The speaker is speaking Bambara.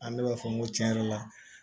An bɛɛ b'a fɔ n ko tiɲɛ yɛrɛ la